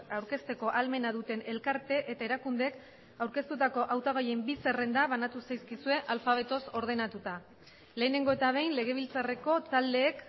aurkezteko ahalmena duten elkarte eta erakundeek aurkeztutako hautagaien bi zerrenda banatu zaizkizue alfabetoz ordenatuta lehenengo eta behin legebiltzarreko taldeek